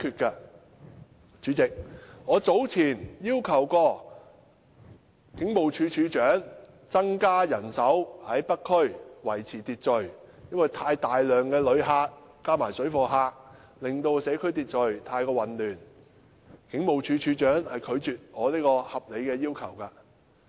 代理主席，我早前要求警務處處長增加人手在北區維持秩序，因為大量旅客加上水貨客，令社區秩序混亂，但警務處處長拒絕我這項合理要求。